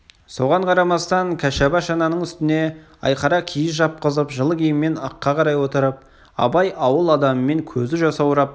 соған қарамастан кәшаба шананың үстіне айқара киіз жапқызып жылы киіммен ыққа қарай отырып абай ауыл адамымен көзі жасаурап